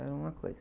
Era uma coisa.